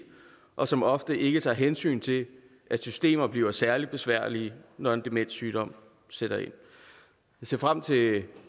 og som ofte ikke tager hensyn til at systemer bliver særlig besværlige når en demenssygdom sætter ind vi ser frem til